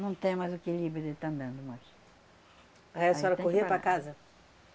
Não tem mais o equilíbrio de estar andando mais... Aí a senhora corria para casa?